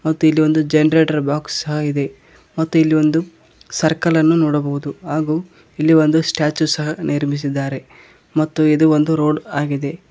ಮತ್ತು ಇಲ್ಲಿ ಒಂದು ಜನರೇಟರ್ ಬಾಕ್ಸ್ ಸಹ ಇದೆ ಮತ್ತು ಇಲ್ಲಿ ಒಂದು ಸರ್ಕಲ್ ಅನ್ನು ನೋಡಬಹುದು ಇಲ್ಲಿ ಒಂದು ಸ್ಟ್ಯಾಚು ಸಹ ನಿರ್ಮಿಸಿದ್ದಾರೆ ಮತ್ತು ಇದು ಒಂದು ರೋಡ್ ಆಗಿದೆ.